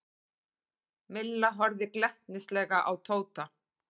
Milla horfði glettnislega á Tóta.